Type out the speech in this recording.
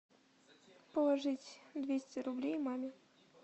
положить двести рублей маме